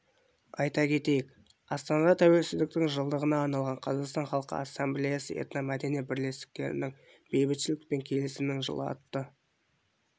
айта кетейік астанада тәуелсіздіктің жылдығына арналған қазақстан халқы ассамблеясы этномәдени бірлестіктерінің бейбітшілік пен келісімнің жылы атты